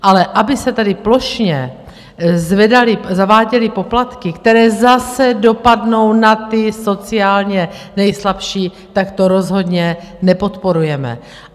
Ale aby se tady plošně zaváděly poplatky, které zase dopadnou na ty sociálně nejslabší, tak to rozhodně nepodporujeme.